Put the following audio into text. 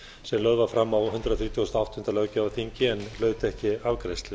sem lögð var fram á hundrað þrítugasta og áttunda löggjafarþingi en hlaut ekki afgreiðslu